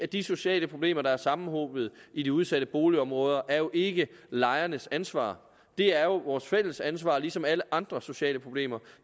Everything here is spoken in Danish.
de sociale problemer der er sammenhobet i de udsatte boligområder er jo ikke lejernes ansvar de er vores fælles ansvar ligesom alle andre sociale problemer